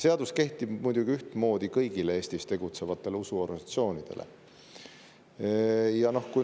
Seadus kehtib muidugi ühtmoodi kõigi Eestis tegutsevate usuorganisatsioonide kohta.